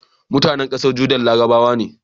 mutAnan ƙasar Jordan larabawa ne